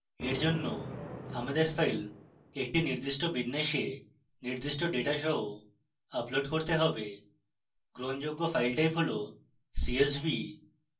for জন্য আমাদের file একটি নির্দিষ্ট বিন্যাসে নির্দিষ্ট ডেটা সহ upload করতে have গ্রহণযোগ্য file type হল csv